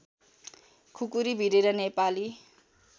खुकुरी भिरेर नेपाली